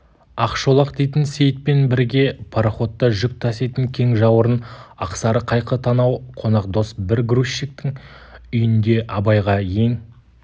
ақшолақ дейтін сейітпен бірге пароходта жүк таситын кең жауырын ақсары қайқы танау қонақдос бір грузчиктің үйінде абайға ең